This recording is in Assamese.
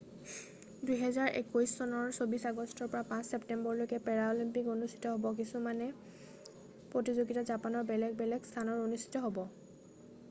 2021 চনৰ 24 আগষ্টৰ পৰা 5 ছেপ্তেম্বৰলৈকে পেৰাঅলিম্পিক অনুষ্ঠিত হ'ব কিছুমান প্ৰতিযোগিতা জাপানৰ বেলেগ বেলেগ স্থানত অনুষ্ঠিত হ'ব